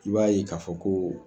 I b'a ye k'a fɔ ko